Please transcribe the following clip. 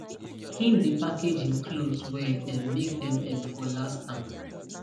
him dey package him cloths well um make them um for last am